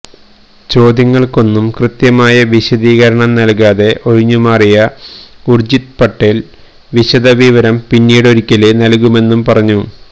ചോദ്യങ്ങള്ക്കൊന്നും കൃത്യമായ വിശദീകരണം നല്കാതെ ഒഴിഞ്ഞുമാറിയ ഉര്ജിത് പാട്ടേല് വിശദവിവരം പിന്നീടൊരിക്കല് നല്കുമെന്നു പറഞ്ഞു